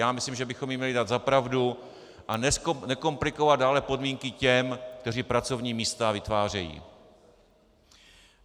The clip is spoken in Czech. Já myslím, že bychom jim měli dát za pravdu a nekomplikovat dále podmínky těm, kteří pracovní místa vytvářejí.